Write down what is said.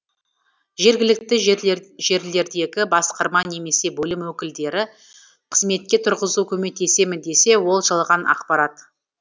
жергілікті жерлердегі басқарма немесе бөлім өкілдері қызметке тұрғызу көмектесемін десе ол жалған ақпарат